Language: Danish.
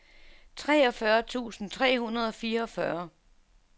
treogfyrre tusind tre hundrede og fireogfyrre